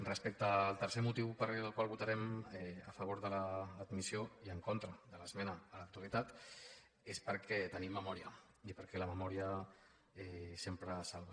respecte al tercer motiu pel qual votarem a favor de l’admissió i en contra de l’esmena a la totalitat és perquè tenim memòria i perquè la memòria sempre salva